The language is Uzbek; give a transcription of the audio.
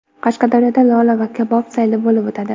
Qashqadaryoda lola va kabob sayli bo‘lib o‘tadi.